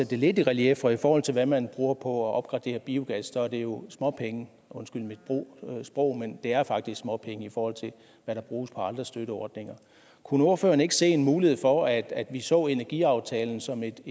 det lidt i relief for i forhold til hvad man bruger på at opgradere biogas er det jo småpenge undskyld mit ordvalg det er faktisk småpenge i forhold til hvad der bruges på andre støtteordninger kunne ordføreren ikke se en mulighed for at at vi så energiaftalen som et